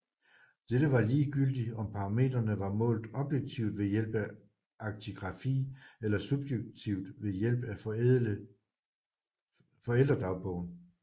Dette var ligegyldigt om parametrene var målt objektivt ved hjælp af aktigrafi eller subjektivt ved hjælp af forældre dagbogen